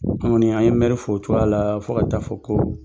an bɛ mɛri fo o cogoya la fo ka taa fɔ ko